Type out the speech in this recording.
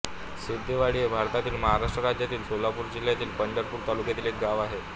सिद्धेवाडी हे भारतातील महाराष्ट्र राज्यातील सोलापूर जिल्ह्यातील पंढरपूर तालुक्यातील एक गाव आहे